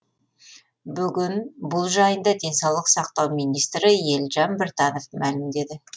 бүгін бұл жайында денсаулық сақтау министрі елжан біртанов мәлімдеді